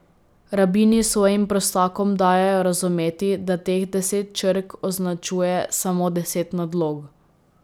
Rabini svojim prostakom dajejo razumeti, da teh deset črk označuje samo deset nadlog.